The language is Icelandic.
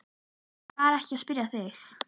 Ég var ekki að spyrja þig.